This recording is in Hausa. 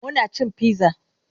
Muna cin pizza